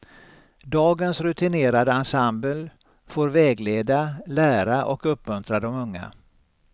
Dagens rutinerade ensemble får vägleda, lära och uppmuntra de unga.